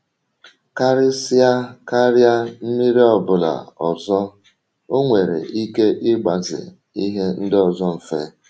Karịsịa karịa mmiri ọ bụla ọzọ, ọ nwere ike ịgbaze ihe ndị ọzọ mfe.